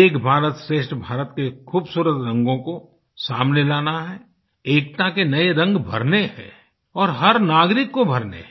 एक भारतश्रेष्ठ भारत के खूबसूरत रंगों को सामने लाना हैएकता के नए रंग भरने हैं और हर नागरिक को भरने हैं